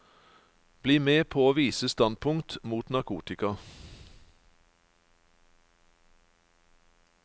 Bli med på å vise standpunkt mot narkotika.